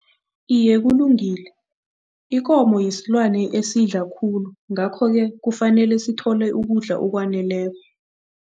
Iye, kulungile. Ikomo yisilwane esidla khulu ngakho-ke kufanele sithole ukudla okwaneleko.